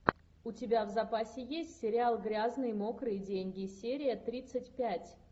у тебя в запасе есть сериал грязные мокрые деньги серия тридцать пять